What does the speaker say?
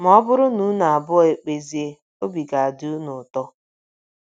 Ma ọ bụrụ na unu abụọ ekpezie, obi ga - adị unu ụtọ.